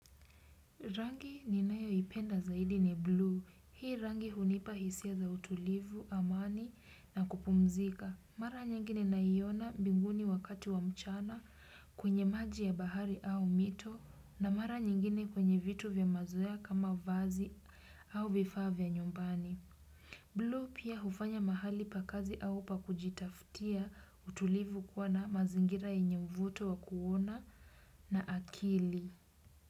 Rangi ninayoipenda zaidi ni blue. Hii rangi hunipa hisia za utulivu, amani na kupumzika. Mara nyingi ninaiona mbinguni wakati wa mchana kwenye maji ya bahari au mito na mara nyingine kwenye vitu vya mazoea kama vazi au vifaa vya nyumbani. Blue pia hufanya mahali pa kazi au pa kujitafutia utulivu kuwa na mazingira yenye uvuto wa kuona na akili.